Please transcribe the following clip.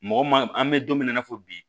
Mɔgɔ ma an bɛ don min na i n'a fɔ bi